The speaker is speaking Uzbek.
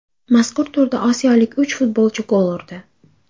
Mazkur turda osiyolik uch futbolchi gol urdi.